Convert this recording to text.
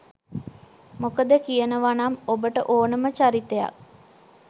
මොකද කියනවනම් ඔබට ඕනම චරිතයක්